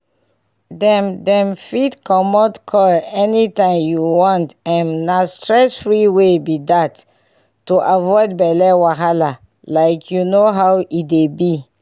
dem dem fit comot coil anytime wey u want m na stress-free way b dat to avoid belle wahala like you know how e dey b